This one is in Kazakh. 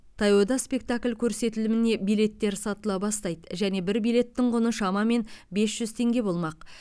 таяуда спектакль көрсетіліміне билеттер сатыла бастайды және бір билеттің құны шамамен бес жүз теңге болмақ